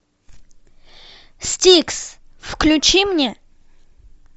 стикс включи мне